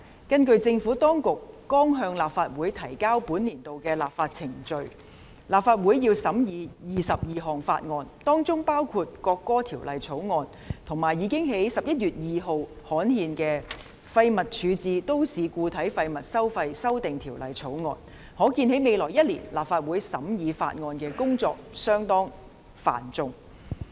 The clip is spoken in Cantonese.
根據政府當局剛向立法會提交的本年度立法議程，立法會將須審議22項法案，包括《國歌條例草案》，以及已於11月2日刊憲的《2018年廢物處置條例草案》，可見在未來1年，立法會審議法案的工作相當繁重。